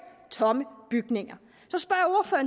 tomme bygninger